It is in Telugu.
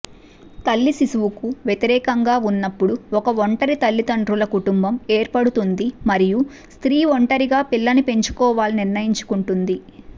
తల్లి శిశువుకు వ్యతిరేకంగా ఉన్నప్పుడు ఒక ఒంటరి తల్లిదండ్రుల కుటుంబం ఏర్పడుతుంది మరియు స్త్రీ ఒంటరిగా పిల్లని పెంచుకోవాలని నిర్ణయించుకుంటుంది